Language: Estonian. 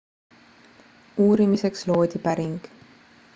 uurimiseks loodi päring